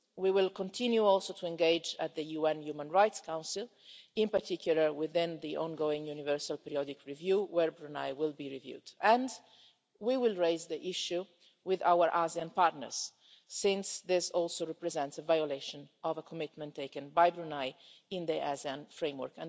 We will also continue to engage at the UN Human Rights Council, in particular within the ongoing universal periodic review, where Brunei will be reviewed, and we will raise the issue with our ASEAN partners, since this also represents a violation of a commitment taken by Brunei in the ASEAN framework.